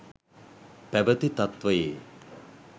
පැවති තත්වයේ